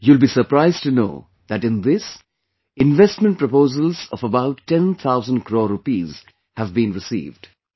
You will be surprised to know that in this, investment proposals of about ten thousand crore rupees have been received